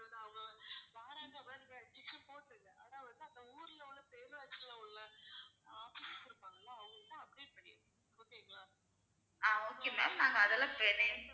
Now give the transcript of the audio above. ஆஹ் okay ma'am நாங்க அதெல்லாம்